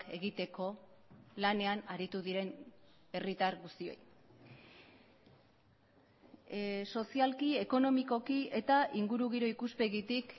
egiteko lanean aritu diren herritar guztiei sozialki ekonomikoki eta ingurugiro ikuspegitik